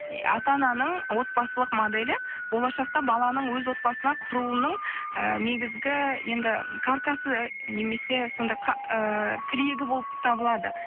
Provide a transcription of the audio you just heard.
ата ананың отбасылық моделі болашақта баланың өз отбасына құруының і негізгі енді каркасы немесе сондай ііі тірегі болып табылады